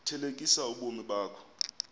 thelekisa ubomi bakho